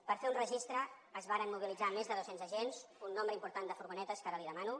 per fer un registre es varen mobilitzar més de doscents agents un nombre important de furgonetes que ara li demano